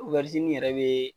yɛrɛ bɛ.